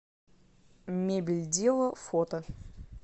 мебельдела фото